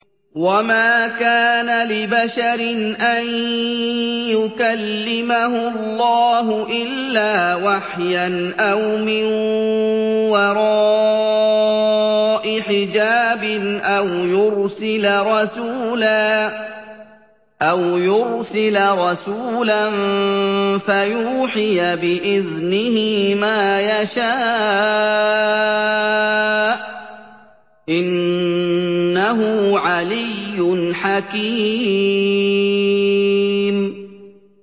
۞ وَمَا كَانَ لِبَشَرٍ أَن يُكَلِّمَهُ اللَّهُ إِلَّا وَحْيًا أَوْ مِن وَرَاءِ حِجَابٍ أَوْ يُرْسِلَ رَسُولًا فَيُوحِيَ بِإِذْنِهِ مَا يَشَاءُ ۚ إِنَّهُ عَلِيٌّ حَكِيمٌ